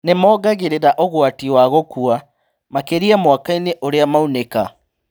Nĩmongagĩrĩra ũgwati wa gũkua, makĩria mwaka-inĩ ũrĩa maunĩka